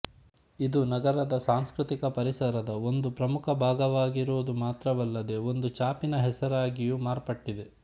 ಇದು ನಗರದ ಸಾಂಸ್ಕೃತಿಕ ಪರಿಸರದ ಒಂದು ಪ್ರಮುಖ ಭಾಗವಾಗಿರುವುದು ಮಾತ್ರವಲ್ಲದೇ ಒಂದು ಛಾಪಿನ ಹೆಸರಾಗಿಯೂ ಮಾರ್ಪಟ್ಟಿದೆ